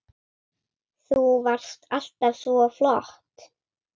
Þú varst alltaf svo flott.